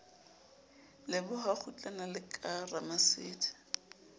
leboha kgutlana la ka ramasedi